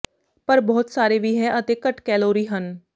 ਪਰ ਬਹੁਤ ਸਾਰੇ ਵੀ ਹੈ ਅਤੇ ਘੱਟ ਕੈਲੋਰੀ ਹਨ